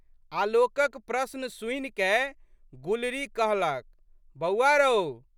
आलोकक प्रश्न सुनिकए गुलरी कहलक, बौआ रओ!